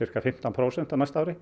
fimmtán prósent á næsta ári